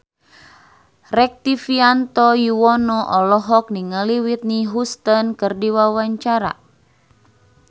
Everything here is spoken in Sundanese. Rektivianto Yoewono olohok ningali Whitney Houston keur diwawancara